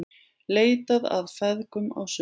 Leitað að feðgum á Suðurlandi